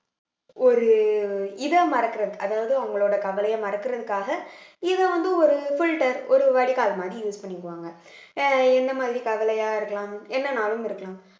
ஒரு இத மறக்கறது அதாவது அவங்களோட கவலைய மறக்கறதுக்காக இத வந்து ஒரு filter ஒரு வடிகால் மாதிரி use பண்ணிக்குவாங்க அஹ் என்ன மாதிரி கவலையா இருக்கலாம் என்னனாலும் இருக்கலாம்